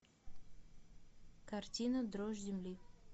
картина дрожь земли